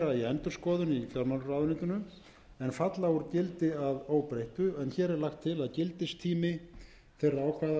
endurskoðun í fjármálaráðuneytinu en falla úr gildi að óbreyttu hér er því lagt til að gildistíminn sé framlengdur